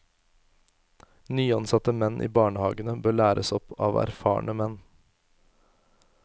Nyansatte menn i barnehagene bør læres opp av erfarne menn.